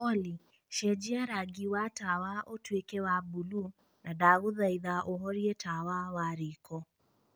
olly cenjia rangi wa tawa ũtuĩke wa buluu na ndagũthaitha ũhorie tawa wa riko